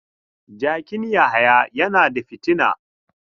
Jakin Yahaya yana da fitina.